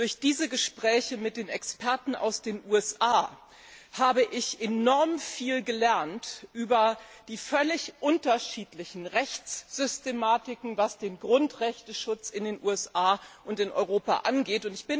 Durch diese Gespräche mit den Experten aus den USA habe ich enorm viel über die völlig unterschiedlichen Rechtssystematiken gelernt, was den Schutz der Grundrechte in den USA und in Europa angeht.